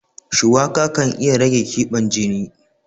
Shuwaka kan iya rage ƙiban jini.